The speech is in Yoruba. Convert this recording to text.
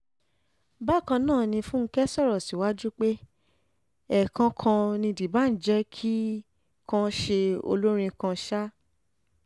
bákan náà ni fúnkẹ́ sọ̀rọ̀ síwájú pé ẹ̀ẹ̀kan kan ni dbanj jẹ́ kì í kàn ṣe olórin kan ṣáá